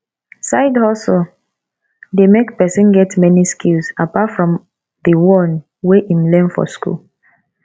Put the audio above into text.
side hustle de make persin get many skills apart from di one wey wey im learn for school